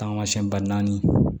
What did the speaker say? Taamasiyɛn ba naani